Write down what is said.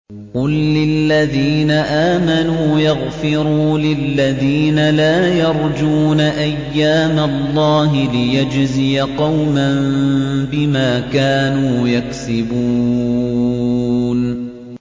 قُل لِّلَّذِينَ آمَنُوا يَغْفِرُوا لِلَّذِينَ لَا يَرْجُونَ أَيَّامَ اللَّهِ لِيَجْزِيَ قَوْمًا بِمَا كَانُوا يَكْسِبُونَ